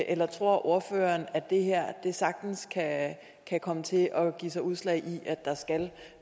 eller tror ordføreren at det her sagtens kan kan komme til at give sig udslag i at der skal